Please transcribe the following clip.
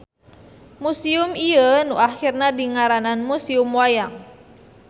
Musium ieu nu akhirna dingaranan Musium Wayang.